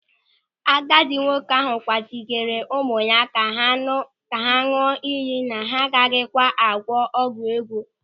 Agadi nwoke ahụ kwagidere ụmụ ya ka ha ñụọ ịyị na ha agaghịkwa agwọ ọgwụ ego.